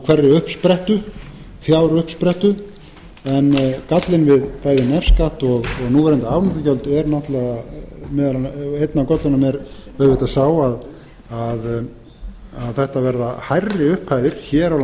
fjáruppsprettu en gallinn við bæði nefskatt og núverandi afnotagjöld er náttúrlega einn af göllunum er auðvitað sá að þetta verða hærri upphæðir hér á